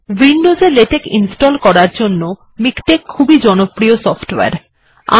Windows এ LaTeX install করার জন্য মিকটেক্ খুব ই জনপ্রিয় সফটওয়ারে